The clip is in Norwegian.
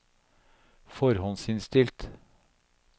forhåndsinnstilt